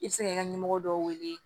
I bɛ se kɛ ɲɛmɔgɔ dɔw wele